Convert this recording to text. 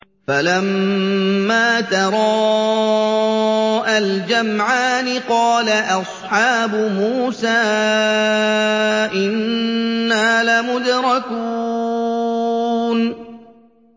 فَلَمَّا تَرَاءَى الْجَمْعَانِ قَالَ أَصْحَابُ مُوسَىٰ إِنَّا لَمُدْرَكُونَ